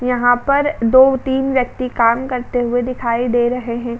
यहाँ पर दो तीन व्यक्ति काम करते हुए दिखाई दे रहे हैं।